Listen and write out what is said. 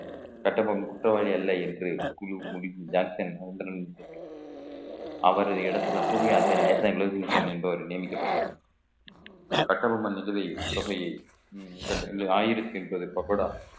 கட்டபொம்மன் குற்றவாளி அல்ல என்று குழு முடிந்து ஜாக்சன் மௌண்டைனின் அவரது இடத்துல புதிய ஆசிரியர் என்பவர் நியமிக்கப்பட்டார் கட்டபொம்மன் நிதி உதவி தொகையை ஆயிருக்கு என்பதை இப்ப கூட ஆயிரத்தி பக்கோடா